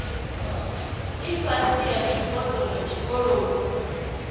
ifhasi ya zwipotso zwa tshikoloni